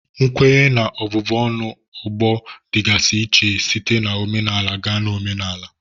Nkwenye na ọbụbụ ọnụ ọgbọ dịgasị iche site na omenala gaa na omenala